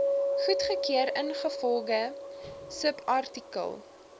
goedgekeur ingevolge subartikel